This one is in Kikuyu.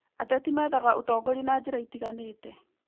Ateti meethaga ũtongoria na njĩra itiganĩte